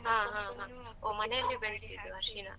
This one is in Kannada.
.